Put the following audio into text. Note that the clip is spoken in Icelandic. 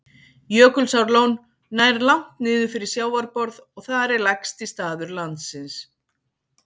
Jökulsárlón nær langt niður fyrir sjávarborð og þar er lægsti staður landsins.